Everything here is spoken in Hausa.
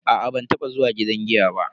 A'a ban taba zuwa gidan giya ba.